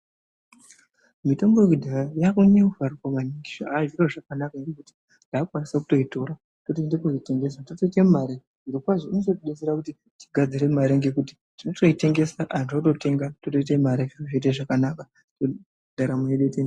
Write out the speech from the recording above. Mitombo yekudhaya yaakunyanya kufarirwa maningi zvave zviro zvakanaka ngekuti taakukwanisa kutoitora totoinde kunoitengesa, totoite mare. Zvirokwazvo inototidetsera kuti tigadzire mare ngekuti totoitengesa antu ototenga totoite mare, zviro zvoite zvakanaka, ndaramo yedu yotoe...